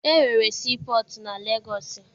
E nwere sii pọtụ na Legọọsị.